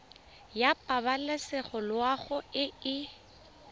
ya pabalesego loago e e